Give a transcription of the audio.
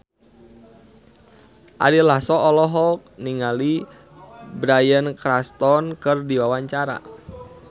Ari Lasso olohok ningali Bryan Cranston keur diwawancara